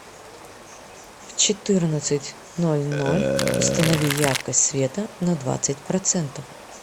в четырнадцать ноль ноль установи яркость света на двадцать процентов